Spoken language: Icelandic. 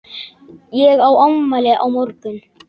Ég á afmæli á morgun.